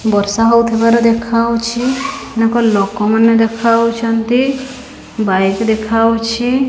ବର୍ଷା ହଉଥିବାର ଦେଖାଯାଉଛି ଏକ ଲୋକମାନେ ଦେଖାଯାଉଛନ୍ତି ବାଇକ୍ ଦେଖାଯାଉଛି।